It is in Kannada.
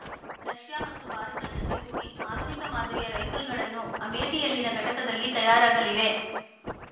ರಷ್ಯಾ ಮತ್ತು ಭಾರತ ಜತೆಗೂಡಿ ಆಧುನಿಕ ಮಾದರಿಯ ರೈಫಲ್‌ಗಳನ್ನು ಅಮೇಠಿಯಲ್ಲಿನ ಘಟಕದಲ್ಲಿ ತಯಾರಾಗಲಿವೆ